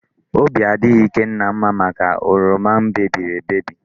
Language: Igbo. Obi adịghị Ikenna mma maka oroma mebiri emebi.